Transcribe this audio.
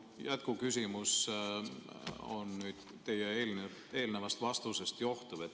Minu jätkuküsimus on teie eelnevast vastusest johtuv.